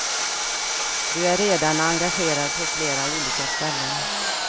Du är redan engagerad på flera olika ställen.